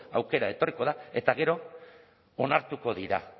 aukera etorriko da eta gero onartuko dira